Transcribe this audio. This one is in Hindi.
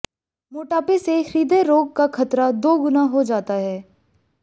मोटापे से हृदय रोग का खतरा दोगुना हो जाता है